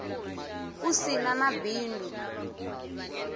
u si na na bindu